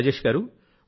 రాజేష్ గారూ